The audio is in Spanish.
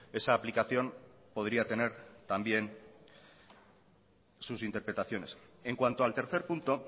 esa aplicación podría tener también sus interpretaciones en cuanto al tercer punto